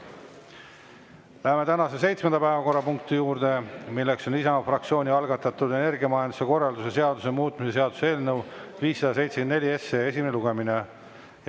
Läheme tänase seitsmenda päevakorrapunkti juurde, milleks on Isamaa fraktsiooni algatatud energiamajanduse korralduse seaduse muutmise seaduse eelnõu 574 esimene lugemine.